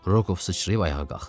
Rokov sıçrayıb ayağa qalxdı.